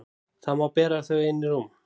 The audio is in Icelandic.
Þá má bera þau inn í rúm.